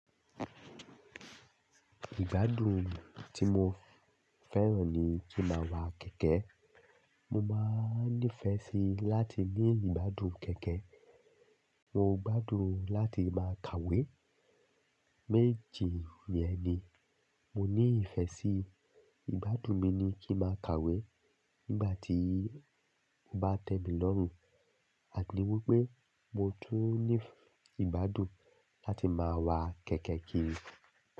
Ìgbádùn tí mo fẹ́ràn ni kí ma wa kẹ̀kẹ́. Mo máa ní fẹ́ sí láti ní ìgbádùn kẹ̀kẹ́. Mo gbádùn láti máa kàwé. Méjì yẹn ni mo ní ìfẹ́ sí. Ìgbádùn mi ni kí máa kàwé nígbà tí mo bá tẹ mi lọ́rùn àti wípé mo tún ní ìgbádùn láti máa wa kẹ̀kẹ́ kiri.